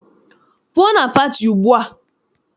Pụọ na pati ugbua!